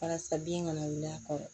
Walasa bin kana wuli a kɔrɔ